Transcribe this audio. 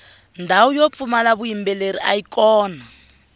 ndhawu yo pfumala vuyimbeleri ayi kona